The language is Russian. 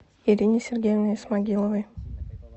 ирине сергеевне исмагиловой